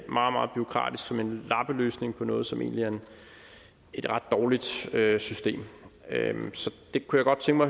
meget bureaukratisk og som en lappeløsning på noget som egentlig er et ret dårligt system så jeg kunne godt tænke